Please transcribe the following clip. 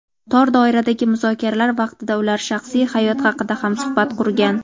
tor doiradagi muzokaralar vaqtida ular shaxsiy hayot haqida ham suhbat qurgan.